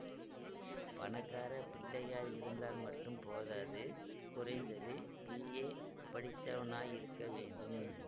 பணக்கார பிள்ளையாயிருந்தால் மட்டும் போதாது குறைந்தது பிஏ படித்தவனாயிருக்க வேண்டும்